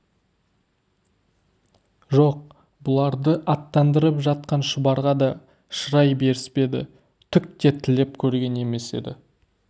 жоқ бұларды аттандырып жатқан шұбарға да шырай беріспеді түк те тілеп көрген емес еді